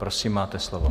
Prosím, máte slovo.